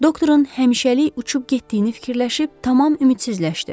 Doktorun həmişəlik uçub getdiyini fikirləşib tamam ümidsizləşdi.